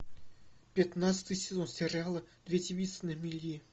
пятнадцатый сезон сериала две девицы на мели